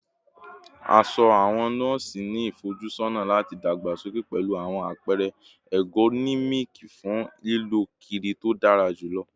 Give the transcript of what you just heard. Aṣọ awọn nọọsi ni ifojusọna lati dagbasoke pẹlu awọn apẹrẹ ergonomic fun lilọ kiri to dara julọ